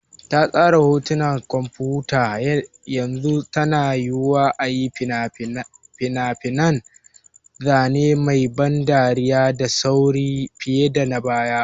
Ta tsara hotunan kwamfuta, yanzu yana yiwuwa a yi fina-finan zane mai ban dariya da sauri fiye da na baya.